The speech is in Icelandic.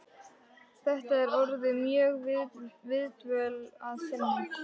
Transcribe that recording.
Þetta er orðin góð viðdvöl að sinni.